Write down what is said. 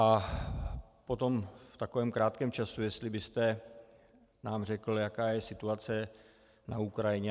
A potom v takovém krátkém čase, jestli byste nám řekl, jaká je situace na Ukrajině.